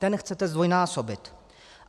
Ten chcete zdvojnásobit.